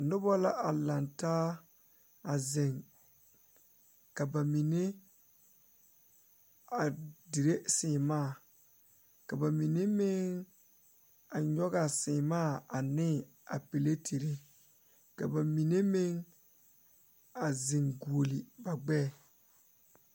Nobɔ la a laŋtaa a zeŋ ka ba mine a dire sèèmaa ka ba mine meŋ a ngogaa sèèmaa ane a pilatire ka ba mine meŋ a zeŋ guoli ba gbɛɛ.